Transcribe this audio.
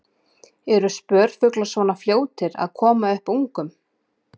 Eru spörfuglar svona fljótir að koma upp ungum?